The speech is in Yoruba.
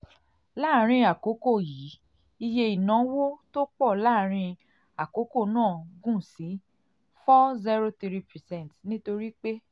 láàárín àkókò yìí iye ìnáwó ìnáwó tó pọ̀ láàárín àkókò náà gùn sí four zero three percrnt nítorí pé